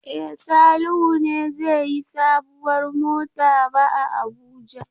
E, Salihu ne zai yi sabuwar mota ba a Abuja.